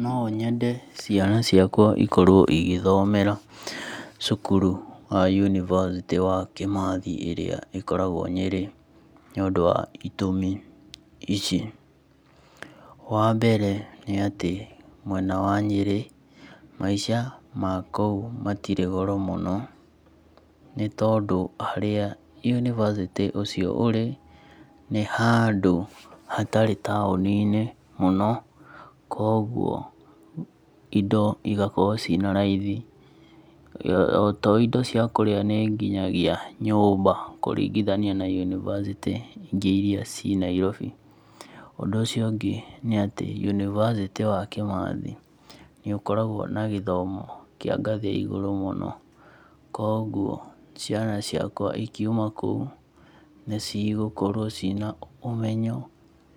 Nonyende ciana ciakwa ikorwo cigĩthomera cukuru wa yunibacĩtĩ wa Kĩmathi ĩrĩa ĩkoragwo Nyĩrĩ nĩũndũ wa itũmi ici. Wambere nĩ atĩ mwena wa Nyĩrĩ, maica ma kũu matirĩ goro mũno nĩtondũ harĩa yunibacĩtĩ ũcio ũrĩ, nĩ handũ hatarĩ taũni-inĩ mũno, koguo indo cigaorwo ciĩna raithi, to indo cia kũrĩa, nĩ nginyagia nyũmba, kũringithania na yunibacĩtĩ ingĩ iria ciĩ Nairobi. Ũndũ ũcio ũngĩ nĩatĩ yunibacĩtĩ ũcio wa Kĩmathi nĩũkoragwo na gĩthomo kĩa ngathĩ ya igũrũ mũno koguo ciana ciakwa cikiuma kũu nĩcigũkorwo ciĩna ũmenyo